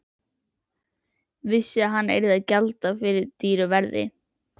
Vissi að hann yrði að gjalda dýru verði.